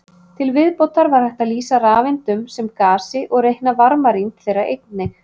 Til viðbótar var hægt að lýsa rafeindunum sem gasi og reikna varmarýmd þeirra einnig.